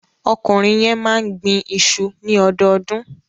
Ọkùnrin yẹn máa ń gbin iṣu ní ọdọọdún.